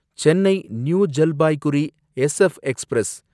Chennai new Jalpaiguri SF express